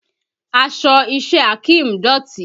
Aṣọ iṣẹ́ Akeem dọ̀tí